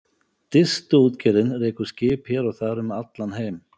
Distuútgerðin rekur skip hér og þar um allan heim.